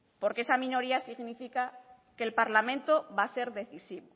porque esa minoría significa que el parlamento va a ser decisivo